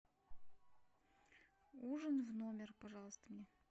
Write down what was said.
ужин в номер пожалуйста мне